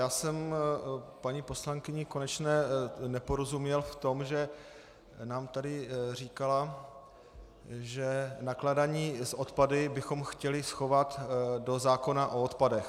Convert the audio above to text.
Já jsem paní poslankyni Konečné neporozuměl v tom, že nám tady říkala, že nakládání s odpady bychom chtěli schovat do zákona o odpadech.